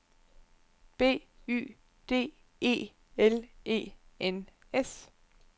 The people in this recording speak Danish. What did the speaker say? B Y D E L E N S